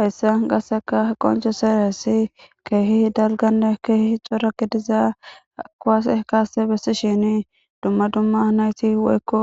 Heyssa gasseka qoncuseressi keehi dalganne keehi cora gidiza kowase kaasse bessi shini dumma dumma nayti woykko